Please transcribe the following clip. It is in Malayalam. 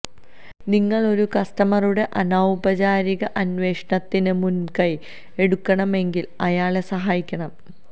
നിങ്ങൾ ഒരു കസ്റ്റമറുടെ അനൌപചാരിക അന്വേഷണത്തിന് മുൻകൈ എടുക്കണമെങ്കിൽ അയാളെ സഹായിക്കണം